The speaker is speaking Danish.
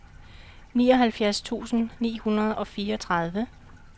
nioghalvfjerds tusind ni hundrede og fireogtredive